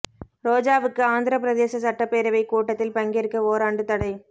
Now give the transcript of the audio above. ரோஜாவுக்கு ஆந்திர பிரதேச சட்டப்பேரவை கூட்டத்தில் பங்கேற்க ஓராண்டு தடை